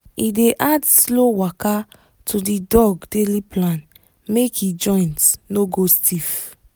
he dey add slow waka to the dog daily plan make e joint no go stiff